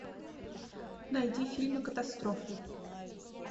найди фильмы катастрофы